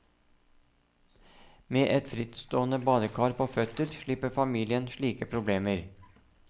Med et frittstående badekar på føtter slipper familien slike problemer.